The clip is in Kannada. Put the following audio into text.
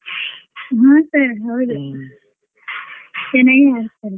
ಹ್ಮ್ sir ಹೌದು ಚೆನ್ನಾಗೆ ಹರಿಸ್ತಾರೆ.